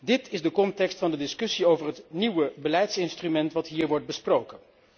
Dit is de context van de discussie over het nieuwe beleidsinstrument dat hier wordt besproken.